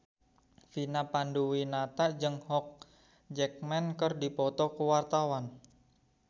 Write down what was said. Vina Panduwinata jeung Hugh Jackman keur dipoto ku wartawan